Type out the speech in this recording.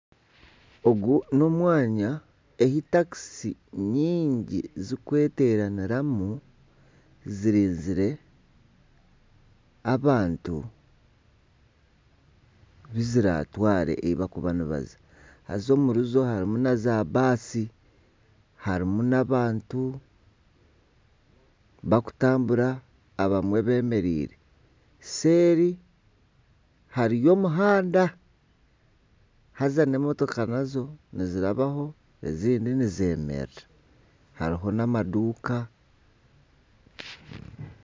Ogu n'omwanya ei takisi nyingi zirikweteraniramu zirinkire abantu abu ziratware ahu barikuba nibaza haza omuri zo harimu na zaabaasi harimu n'abantu bakutambura abamwe beemereire seeri hariyo omuhanda haza n'emotoka nazo nizirabaho n'ezindi nizemerera hariho n'amaduuka